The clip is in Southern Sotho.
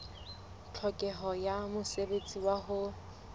tlhokeho ya mosebetsi wa ho